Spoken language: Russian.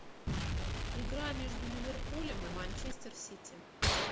игра между ливерпулем и манчестер сити